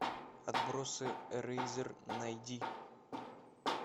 отбросы эрейзер найди